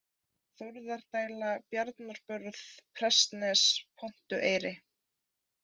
Þórðardæla, Bjarnabörð, Prestnes, Pontueyri